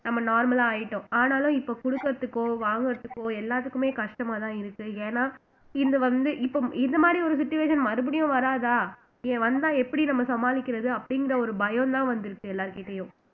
நம்ம normal ஆ ஆயிட்டோம் ஆனாலும் இப்ப கொடுக்குறதுக்கோ வாங்குறதுக்கோ எல்லாத்துக்குமே கஷ்டமாதான் இருக்கு ஏன்னா இது வந்து இப்போ இது மாதிரி ஒரு situation மறுபடியும் வராதா ஏன் வந்தா எப்படி நம்ம சமாளிக்கிறது அப்படிங்கிற ஒரு பயம்தான் வந்துருச்சு எல்லார்கிட்டேயும்